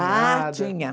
Ah, tinha.